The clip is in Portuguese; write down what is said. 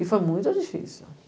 E foi muito difícil.